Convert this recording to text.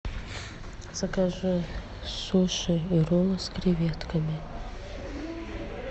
закажи суши и роллы с креветками